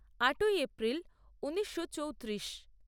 আটই এপ্রিল ঊনিশো চৌত্রিশ